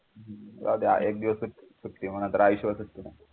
राहू द्या एक दिवस सुट्टी होणार तर आयुष्यभर